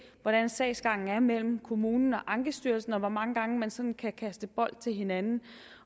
hvordan sagsgangen mellem kommunen og ankestyrelsen er og hvor mange gange man sådan kan kaste bold til hinanden